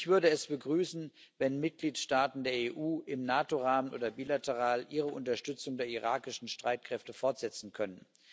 Ich würde es begrüßen, wenn Mitgliedstaaten der EU im NATO Rahmen oder bilateral ihre Unterstützung der irakischen Streitkräfte fortsetzen könnten.